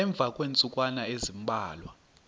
emva kweentsukwana ezimbalwa